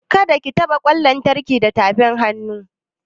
Kada ka taɓa ƙwan lantarki da tafin hannunka!